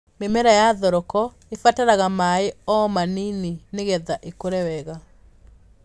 Mĩmera ya thoroko ĩbataraga maaĩ o ma nini nĩgetha ĩkũre wega.